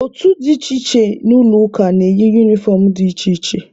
Otu dị iche iche n'ụlọ ụka na-eyi unifọm dị iche iche.